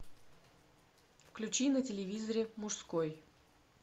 включи на телевизоре мужской